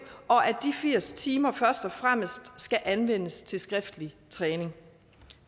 og at de firs timer først og fremmest skal anvendes til skriftlig træning